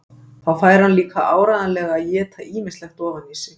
Þá fær hann líka áreiðanlega að éta ýmislegt ofan í sig.